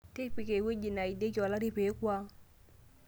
tipika ewueji naidieki olari peeku ang